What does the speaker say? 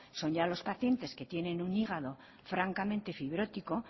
son ya los pacientes que tienen un hígado francamente fibrótico